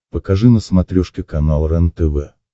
покажи на смотрешке канал рентв